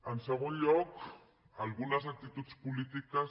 en segon lloc algunes actituds polítiques